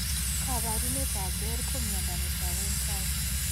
Kabarunet ab Behr ko miondo netagu en tai